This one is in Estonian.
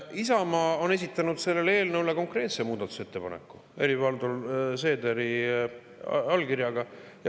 Isamaa on esitanud selle eelnõu kohta konkreetse muudatusettepaneku Helir-Valdor Seederi allkirjaga.